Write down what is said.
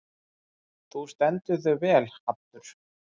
Þú stendur þig vel, Haddur!